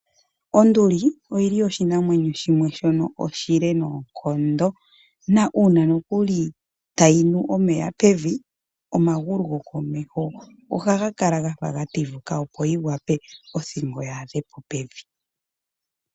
Onduli oyo oshinamwenyo shimwe oshile noonkondo, na uuna no kuli ngele tayinu omeya pevi omagulu ohaga kala gafa gatifuka opo othingo yi wape yaadhepo pevi.